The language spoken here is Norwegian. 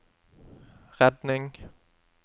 redning